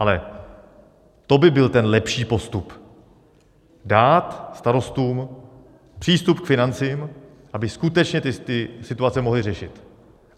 Ale to by byl ten lepší postup: dát starostům přístup k financím, aby skutečně ty situace mohli řešit.